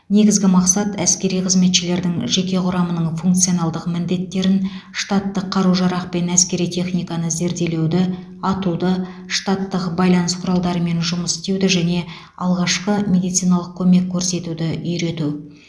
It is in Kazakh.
негізгі мақсат әскери қызметшілердің жеке құрамының функционалдық міндеттерін штаттық қару жарақ пен әскери техниканы зерделеуді атуды штаттық байланыс құралдарымен жұмыс істеуді және алғашқы медициналық көмек көрсетуді үйрету